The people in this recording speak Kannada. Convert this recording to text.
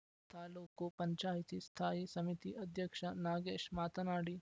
ತಾಲೂಕು ಪಂಚಾಯಿತಿ ಸ್ಥಾಯಿ ಸಮಿತಿ ಅಧ್ಯಕ್ಷ ನಾಗೇಶ್‌ ಮಾತನಾಡಿ